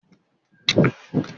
Ṣé Jídé máa jẹ fùfú ní ìrọ̀lẹ́ òní?